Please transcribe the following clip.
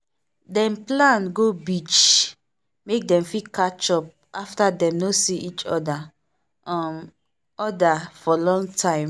dem plan go beach make dem fit catch up after dem no see each um other for long time.